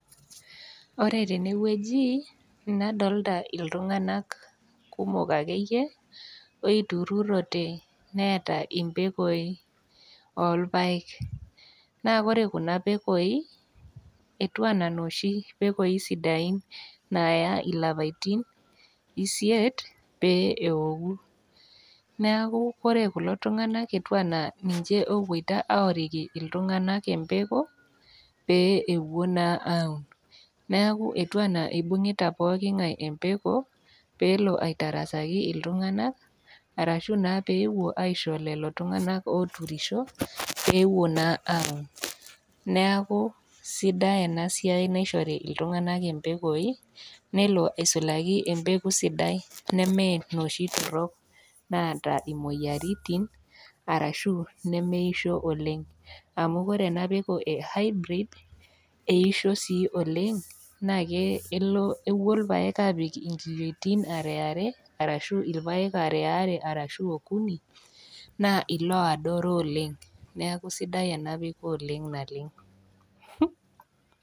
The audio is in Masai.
Ore tene wueji nadolita iltung'ana kumok ake iyie oitururote neata impekoi oolpaek, naa ore Kuna pekoi, etiu anaa nooshi pekoi siddain naayai ilapaitin isiet pee eoku , neaku ore kulo tung'ana etiu ana ninche opuoita aoriki iltung'ana empeko pee ewuo naa aun, neaku etiu anaa eibung'ita pookin ngai empeko pee elo aitarasaki iltung'ana arashu naa peepuo aisho lelo tung'ana ooturisho peewuo naa aun, neaku sidai ena siai naishori iltung'ana impekoi nelo aisulaki empeko sidai nemee inooshi torok naata imoyaritin arashu inemeisho oleng' amu ore ena peko e Hybrid, eisho sii oleng' naa kepuo ilpaek aapik inkiyiotin are are, ashu ilpaek aare are arashu okuni naa ilaadoro oleng', neaku sidai ena peko oleng' naleng'.